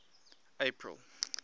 april